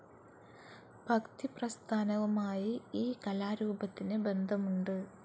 ഭക്തിപ്രസ്ഥാനവുമായി ഈ കലാരൂപത്തിന് ബന്ധമുണ്ട്.